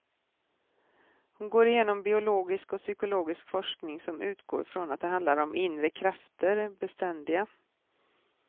Hon går igenom biologisk och psykologisk forskning som utgår från att det handlar om inre krafter, beständiga.